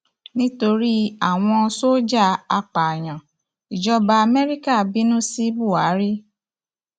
nítorí àwọn sójà apààyàn ìjọba amẹríkà bínú sí buhari